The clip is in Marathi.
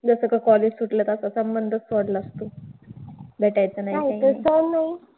जसं college सुटलं तसं संबंधच सोडला तू. भेटायचं नाही काही नाही